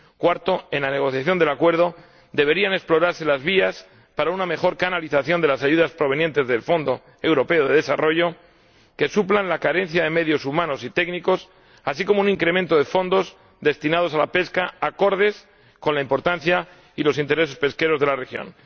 En cuarto lugar, en la negociación del acuerdo deberían explorarse las vías para una mejor canalización de las ayudas provenientes del Fondo Europeo de Desarrollo, que suplan la carencia de medios humanos y técnicos, así como un incremento de fondos destinados a la pesca acordes con la importancia y los intereses pesqueros de la región.